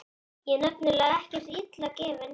Ég er nefnilega ekkert illa gefinn.